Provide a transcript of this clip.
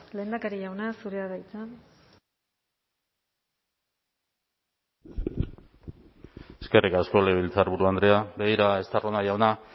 lehendakari jauna zurea da hitza eskerrik asko legebiltzarburu andrea begira estarrona jauna